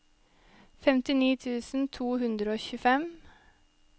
femtini tusen to hundre og tjuefem